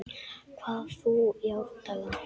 hvað þú í árdaga